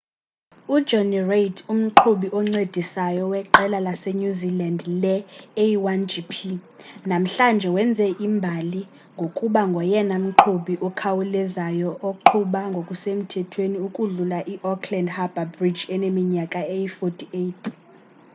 ujonny reid umqhubi oncedisayo weqela lasenew zealand le-a1gp namhlanje wenze imbali ngokuba ngoyena mqhubi ukhawulezayo oqhuba ngokusemthethweni ukudlula iauckland harbour bridge eneminyaka eyi-48